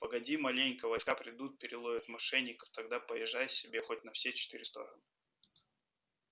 погоди маленько войска придут переловят мошенников тогда поезжай себе хоть на все четыре стороны